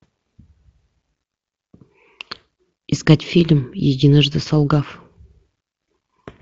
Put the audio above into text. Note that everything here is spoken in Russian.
искать фильм единожды солгав